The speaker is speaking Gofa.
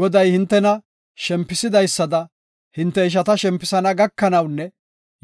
Goday hintena shempisidaysada hinte ishata shempisana gakanawunne